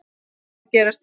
Margt var að gerast.